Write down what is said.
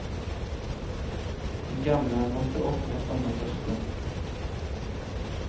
Den gamle måtte opp med et lommetørkle.